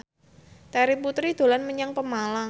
Terry Putri dolan menyang Pemalang